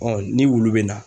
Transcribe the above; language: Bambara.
ni wulu bɛ na.